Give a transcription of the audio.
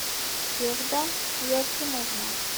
севда елфимовна